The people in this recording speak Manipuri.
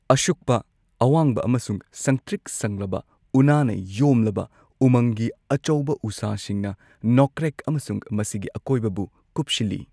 ꯑꯁꯨꯛꯄ, ꯑꯋꯥꯡꯕ ꯑꯃꯁꯨꯡ ꯁꯪꯇ꯭ꯔꯤꯛ ꯁꯪꯂꯕ ꯎꯅꯥꯅ ꯌꯣꯝꯂꯕ ꯎꯃꯪꯒꯤ ꯑꯆꯧꯕ ꯎꯁꯥꯁꯤꯡꯅ ꯅꯣꯀ꯭ꯔꯦꯛ ꯑꯃꯁꯨꯡ ꯃꯁꯤꯒꯤ ꯑꯀꯣꯏꯕꯕꯨ ꯀꯨꯞꯁꯤꯜꯂꯤ꯫